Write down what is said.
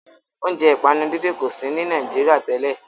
Óúnjẹ ìpanu dídín kò sí ní Nàìjíría tẹ́lẹ̀